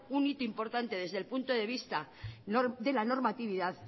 un hito importante desde el punto de la vista de la normatividad